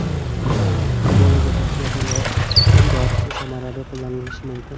Ebolaga qarshi yapon dorisi samarali qo‘llanilishi mumkin.